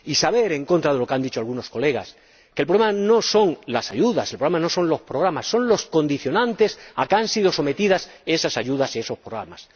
Y saber, en contra de lo que han dicho algunos diputados, que el problema no son las ayudas. El problema no son los programas. Son los condicionantes a los que han sido sometidos esas ayudas y esos programas.